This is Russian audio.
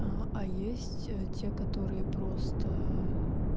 а а есть те которые просто